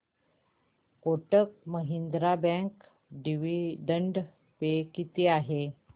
Kotak Mahindra bank dividend pay किती आहे